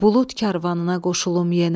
Bulud karvanına qoşulum yenə.